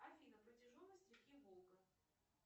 афина протяженность реки волга